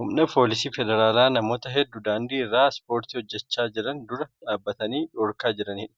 Humna foolisii federaalaa namoota hedduu daandii irra ispoortii hojjechaa jiran dura dhaabbatanii dhorkaa jiraniidha.